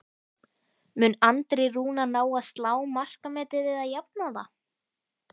Mun Andri Rúnar ná að slá markametið eða jafna það?